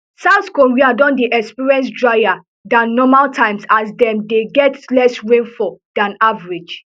south korea don dey experience drier dan normal times as dem dey get less rainfall dan average